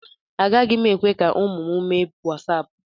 Agaghị m ekwe ka ụmụ m mee wasaapụ.